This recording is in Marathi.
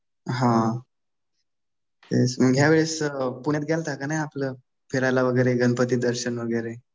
हा तेच मग. ह्या वेळेस पुण्यात गेलता कि नाही आपलं फिरायला वगैरे गणपती दर्शन वगैरे.